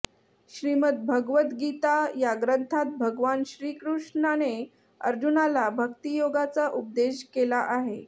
श्रीमद भगवद्गीता या ग्रंथात भगवान श्रीकृष्णाने अर्जुनाला भक्तियोगाचा उपदेश केला आहे